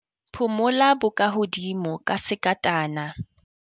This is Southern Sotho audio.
Phumula bokahodimo ka sekatana.